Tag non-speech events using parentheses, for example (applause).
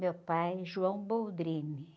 Meu pai, (unintelligible)